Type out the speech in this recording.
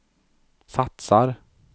satsar